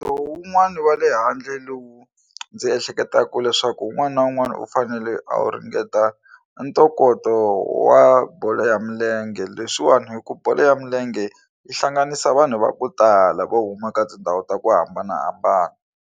Wun'wani wa le handle lowu ndzi ehleketaka leswaku un'wana na un'wana u fanele a wu ringeta ntokoto wa bolo ya milenge leswiwani hikuva bolo ya milenge yi hlanganisa vanhu va ku tala vo huma ka tindhawu ta ku hambanahambana.